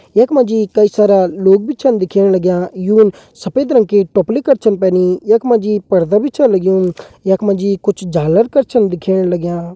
यखमा जी कई सारा लोग भी छन दिखेण लग्यां यू सफ़ेद रंग की टोपली कर छन पैनी यखमा जी पर्दा भी छ लग्यूं यखमा जी कुछ झालर कर छन दिखेण लग्यां।